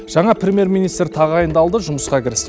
жаңа премьер министр тағайындалды жұмысқа кірісті